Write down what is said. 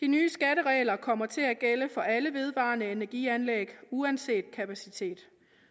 de nye skatteregler kommer til at gælde for alle vedvarende energi anlæg uanset kapacitet